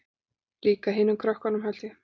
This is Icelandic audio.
Líka hinum krökkunum held ég.